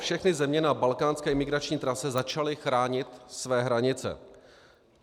Všechny země na balkánské imigrační trase začaly chránit své hranice.